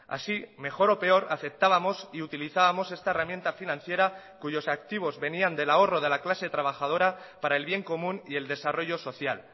así mejor o peor aceptábamos y utilizábamos esta herramienta financiera cuyos activos venían del ahorro de la clase trabajadora para el bien común y el desarrollo social